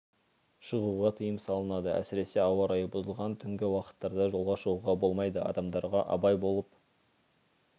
шығуға тыйым салынады әсіресе ауа райы бұзылған түнгі уақыттарда жолға шығуға болмайды адамдарға абай болып